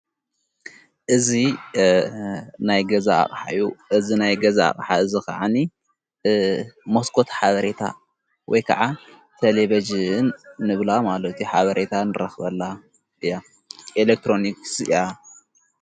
እዝ ናይ ገዛቕ ሓዩ እዝ ናይ ገዛ ኣቅሓ እዝ ኸዓኒ ሞስኮት ሓበሬታ ወይ ከዓ ተሌቤጅን ንብላ ማሎቲ ሓበሬታ ንረኽበላ እያ ኤለክትሮንክስ እያ።